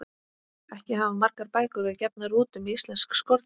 Ekki hafa margar bækur verið gefnar út um íslensk skordýr.